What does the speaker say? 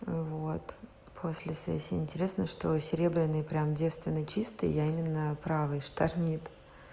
вот после сессии интересно что серебряные прямо девственно чистые я именно правой штормит